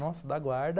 Nossa, da guarda.